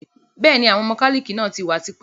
Bẹ́ẹ̀ni, Àwọn mọ́kálíkì náà tí wá tipẹ́